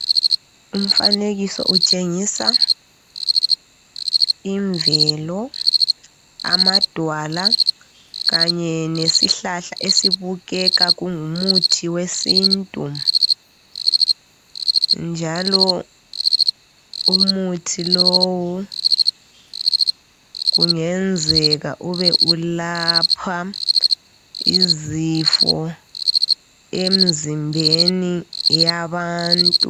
Umfanekiso utshengisa imvelo, amadwala kanye nesihlahla esibukeka kungumuthi wesintu njalo umuthi lowu kungenzeka ube ulapha izifo emizimbeni yabantu.